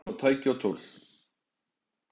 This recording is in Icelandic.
Í einn stað koma tæki og tól.